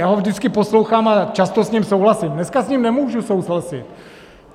Já ho vždycky poslouchám a často s ním souhlasím, dneska s ním nemůžu souhlasit.